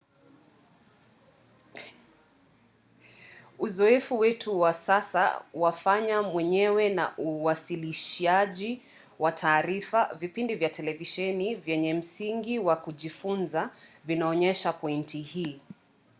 uzoefu wetu wa sasa wa fanya-mwenyewe na uwasilishaji wa taarifa vipindi vya televisheni vyenye msingi wa kujifunza vinaonyesha pointi hii